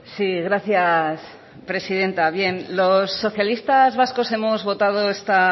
sí gracias presidenta bien los socialistas vascos hemos votado esta